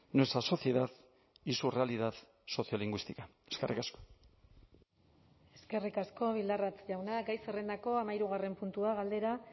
nuestra sociedad y su realidad sociolingüística eskerrik asko eskerrik asko bildarratz jauna gai zerrendako hamahirugarren puntua galdera